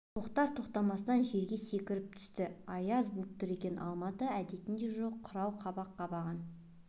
тоқтар-тоқтамастан жерге секіріп түсті аяз буып тұр екен алматы әдетінде жоқ қырау қабақ қабарған